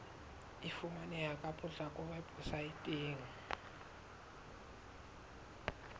e fumaneha ka potlako weposaeteng